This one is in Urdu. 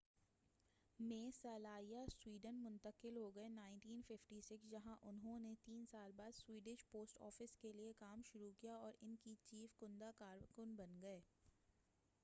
1956 میں سلانیہ سویڈن منتقل ہوگئے جہاں انہوں نے تین سال بعد سویڈش پوسٹ آفس کیلئے کام شروع کیا اور ان کی چیف کندہ کار بن گئے